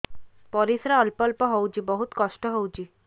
ପରିଶ୍ରା ଅଳ୍ପ ଅଳ୍ପ ହଉଚି ବହୁତ କଷ୍ଟ ହଉଚି